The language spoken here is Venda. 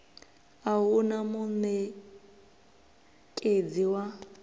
a hu na munekedzi wa